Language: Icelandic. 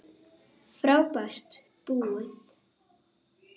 Frábær búð.